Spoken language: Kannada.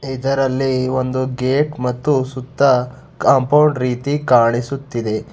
ಇದರಲ್ಲಿ ಒಂದು ಗೇಟ್ ಮತ್ತು ಸುತ್ತ ಕಾಂಪೌಂಡ್ ರೀತಿ ಕಾಣಿಸುತ್ತಿದೆ.